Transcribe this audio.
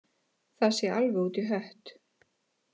Það sé alveg út í hött